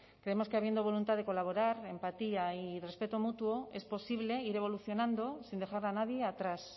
creemos que habiendo voluntad de colaborar empatía y respeto mutuo es posible ir evolucionando sin dejar a nadie atrás